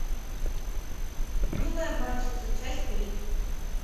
милые обманщицы часть три